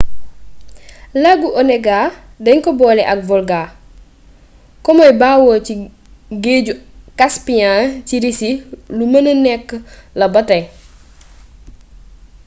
lagu onega dañ ko boole ak volga ko muy bawoo ci géeju caspiyan ci risi lu mëna nekk la ba tey